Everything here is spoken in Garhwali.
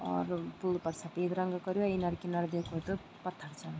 और पुल फर सपेद रंग कर्यु अर इनर किनर देखू त पत्थर छन।